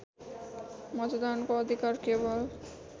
मतदानको अधिकार केवल